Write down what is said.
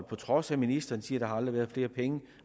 på trods af at ministeren siger at har været flere penge